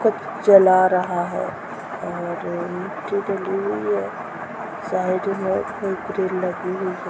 कुछ जला रहा है और अ मिट्टी डली हुई है साइड में ग्रिल लगी हुई है।